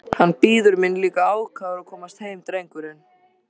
Hann bíður mín líka ákafur að komast heim drengurinn!